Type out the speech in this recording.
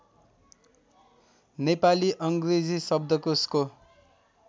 नेपाली अङ्ग्रेजी शब्दकोशको